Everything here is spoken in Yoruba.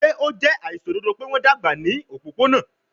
Ṣe o jẹ aiṣododo pe wọn dagba ni opopona?